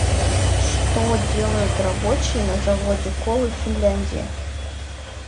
что делают рабочие на заводе колы в финляндии